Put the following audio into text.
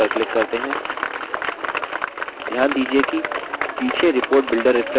ध्यान दीजिये कि पीछे report builder refreshed हो गया है